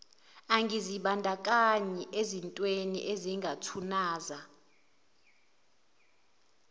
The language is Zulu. angazibandakanyi ezintwemi ezingathunaza